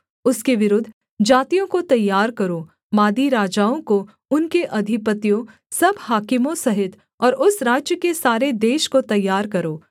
उसके विरुद्ध जातियों को तैयार करो मादी राजाओं को उनके अधिपतियों सब हाकिमों सहित और उस राज्य के सारे देश को तैयार करो